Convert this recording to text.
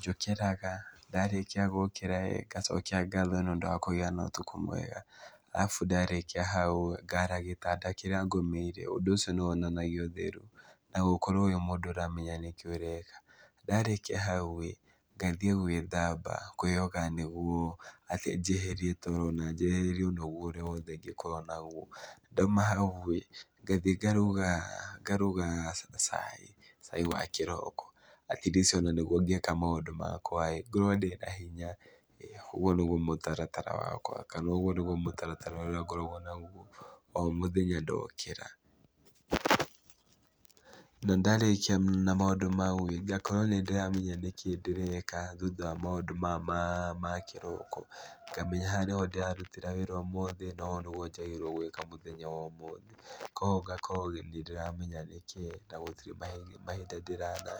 njũkĩraga ndarĩkia gũkĩra-ĩ, ngacokia ngatho nĩũndũ wa kũgĩa na ũtukũ mwega, arabu ndarĩkia hau-ĩ ngaara gĩtanda kĩrĩa ngomeire, ũndũ ũcio nĩwonanagia ũtheru na gũkorwo wĩ mũndũ ũramenya nĩkĩ ũreka. Ndarĩkia hau-rĩ ngathiĩ gwĩthamba kwĩyoga nĩguo atĩ njeherie toro na njeherie ũnogu ũrĩa wothe ingĩkorwo naguo. Ndauma hau-ĩ, ngathiĩ ngaruga ngaruga cai, cai wa kĩroko at least ona nĩguo ngĩka maũndũ makwa-ĩ ngorwo ndĩna hinya ĩĩ, ũguo nĩguo mũtaratara wakwa kana ũguo nĩguo mũtaratara ũrĩa ngoragwo naguo o mũthenya ndokĩra. Na, ndarĩkia maũndũ mau-ĩ, ngakorwo nĩndĩramenya nĩkĩĩ ndĩreka thutha wa maũndũ maya maa ma kĩroko, ngamenya haha nĩho ndĩrarutĩra wĩra ũmũthĩ na ũũ nĩguo njagĩrĩirwo nĩ gwĩka mũthenya wa ũmũthĩ, kuoguo ngakorwo nĩndĩramenya nĩkĩĩ na gũtirĩ mahinda ndĩrananga.